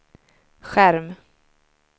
skärm